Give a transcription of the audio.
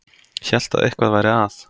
Hélt að eitthvað væri að.